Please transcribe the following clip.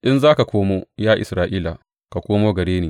In za ka komo, ya Isra’ila, ka komo gare ni,